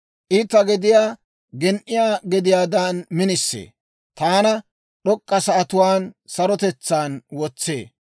I ta gediyaa gen"iyaa gediyaadan minisee; taana d'ok'k'a sa'atuwaan sarotetsaan wotsee.